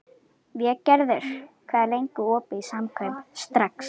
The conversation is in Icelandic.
Végerður, hvað er lengi opið í Samkaup Strax?